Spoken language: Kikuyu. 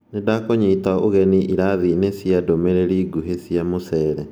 Nindakũnyita ũgeni irathinĩ cia ndũmirĩri nguhĩ cia mũcere